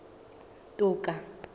toka